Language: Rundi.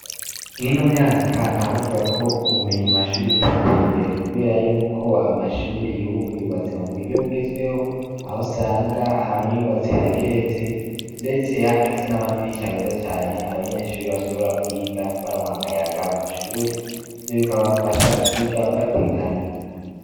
Mw' ino myaka ntawovuga ko ubumenyi mu mashuri butateye imbere. Kubera yuko amashuri y'ubu yubatse mu buryo bugezweho, aho usanga amwe yubatse ageretse, ndetse afise n'amadirisha ameza cane abanyeshuri bashobora kwiga baronka akayaga mu mashuri. Ivyo bikabafasha kwiga batekaniwe.